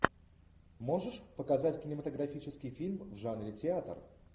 можешь показать кинематографический фильм в жанре театр